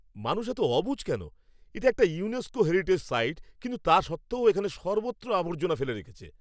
মানুষ এত অবুঝ কেন? এটা একটা ইউনেস্কো হেরিটেজ সাইট কিন্তু তা সত্ত্বেও এখানে সর্বত্র আবর্জনা ফেলে রেখেছে।